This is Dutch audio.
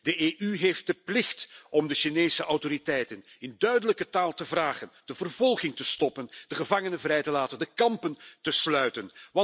De EU heeft de plicht om de Chinese autoriteiten in duidelijke taal te vragen de vervolging te stoppen, de gevangenen vrij te laten, de kampen te sluiten.